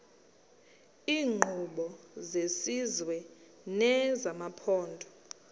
iinkqubo zesizwe nezamaphondo